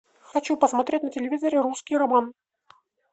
хочу посмотреть на телевизоре русский роман